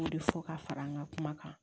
O de fɔ ka fara n ka kuma kan